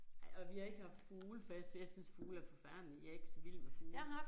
Nej og vi har ikke haft fugle for jeg jeg synes fugle er forfærdelige jeg ikke så vild med fugle